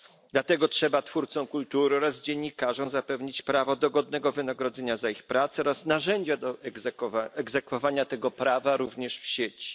Dlatego trzeba twórcom kultury oraz dziennikarzom zapewnić prawo do godnego wynagrodzenia za ich pracę oraz narzędzia do egzekwowania tego prawa, również w sieci.